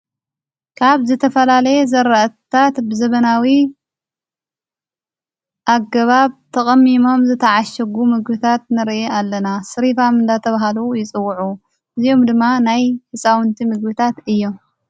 ካብ ዝተፈላለየ ዘራእታት ብዘበናዊ ኣገባብ ተቐሚሞም ዝተዓሸጉ ምግብታት ንርኢ ኣለና ሥሪፋም እናተብሃሉ ይጽውዑ እዚኦም ድማ ናይ ሕፃውንቲ ምግብታት እዮም።